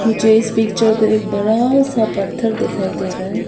मुझे इस पिक्चर में एक बड़ा सा पत्थर दिखाई दे रहा है।